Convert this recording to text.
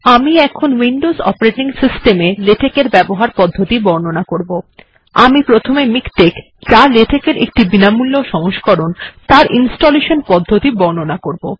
আমি প্রথমে মিকটেক্ যা লেটেক্ এর একটি বিনামূল্য সংস্করণ তার ইনস্টলেশান পদ্ধতি বর্ণনা করব